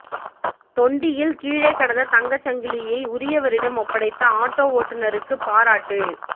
தொண்டியில் கீழே கிடந்த தங்கச் சங்கிலியை உரியவரிடம் ஒப்படைத்த ஆட்டோ ஓட்டுநருக்கு பாராட்டு